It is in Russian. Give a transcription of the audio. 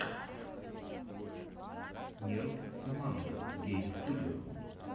нерд соммандо гейм студио